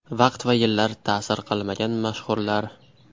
Vaqt va yillar ta’sir qilmagan mashhurlar .